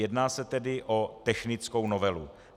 Jedná se tedy o technickou novelu.